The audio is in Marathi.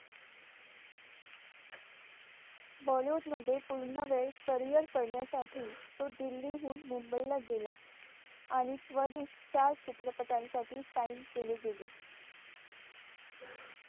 bollywood मध्ये पूर्ण वेळेस carrier करण्यासाठी तो दिल्लीहून मुंबईला गेला आणि त्वरित चार चित्रपटांसाठी sign केले गेले.